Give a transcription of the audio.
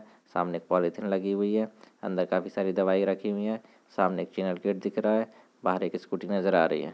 सामने एक पॉलिथीन लगी हुई है अंदर काफी सारी दवाई रखी हुई है सामने एक चैनल गेट दिख रहा है बाहर एक स्कूटी नज़र आ रही है।